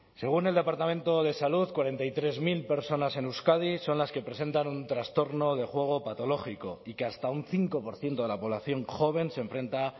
según el departamento de salud cuarenta y tres mil personas en euskadi son las que presentan un trastorno de juego patológico y que hasta un cinco por ciento de la población joven se enfrenta